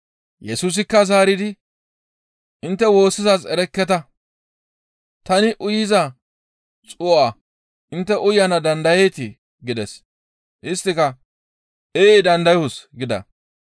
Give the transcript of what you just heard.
Yesusikka zaaridi, «Intte woossizaaz erekketa; tani uyiza xuu7a intte uyana dandayanee?» gides. Isttika, «Ee dandayoos» gida.